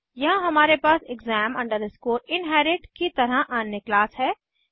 यहाँ हमारे पास exam inherit की तरह अन्य क्लास है